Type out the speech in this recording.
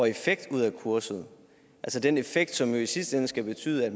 effekt ud af kurset altså den effekt som jo i sidste ende skal betyde at